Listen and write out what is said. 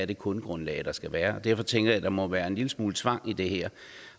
det kundegrundlag der skulle være derfor tænker jeg at der må være en lille smule tvang i det her